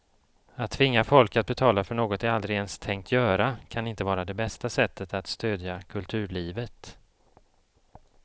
Att tvinga folk att betala för något de aldrig ens tänkt göra kan inte vara det bästa sättet att stödja kulturlivet.